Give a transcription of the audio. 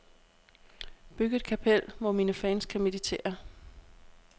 Byg et kapel, hvor mine fans kan meditere.